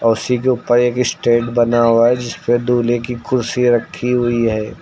उसी के ऊपर एक स्टेज बना हुआ है जिस पे दूल्हे की खुशी रखी हुई है।